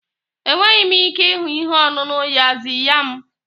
Enweghị m ike ịhụ ihe ọṅụṅụ yaxiya m.